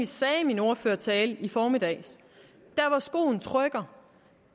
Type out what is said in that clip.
sagde i min ordførertale i formiddags at skoen trykker